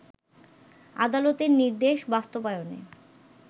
আদালতের নির্দেশ বাস্তবায়নে